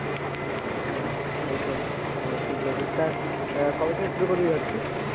হ্যাঁ একদম ঠিক বলেছিস। তা কবে থেকে শুরু করবি ভাবছিস?